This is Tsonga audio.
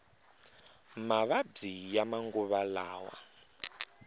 mavabyi ya manguva lawa